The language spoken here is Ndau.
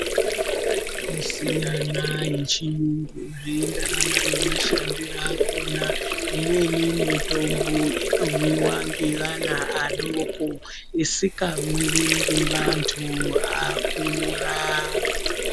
Mitombo inosiyana yechiyungu zveienderana nemashandire akona. Imweni mitombo inomwiwa ngevana adoko isingamwiwi ngeanthu akura.